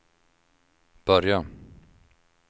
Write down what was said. börja